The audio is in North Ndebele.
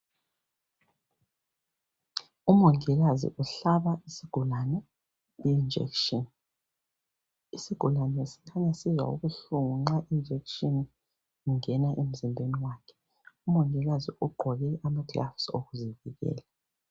Umongikazi uhlaba isigulane I injection isigulane sikhanya sizwa ubuhlungu nxa I injection ingena emzimbeni wakhe umongikazi ugqoke ama gloves okuzivikela